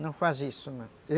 Não faz isso, não.